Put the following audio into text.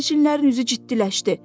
Sərnişinlərin üzü ciddiləşdi.